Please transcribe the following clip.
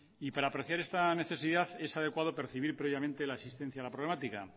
y para apreciar esta necesidad es adecuado percibir previamente la existencia de la problemática